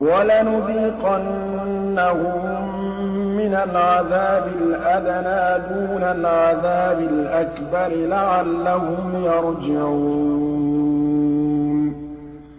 وَلَنُذِيقَنَّهُم مِّنَ الْعَذَابِ الْأَدْنَىٰ دُونَ الْعَذَابِ الْأَكْبَرِ لَعَلَّهُمْ يَرْجِعُونَ